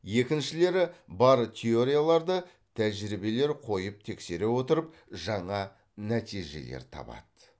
екіншілері бар теорияларды тәжірибелер қойып тексере отырып жаңа нәтижелер табады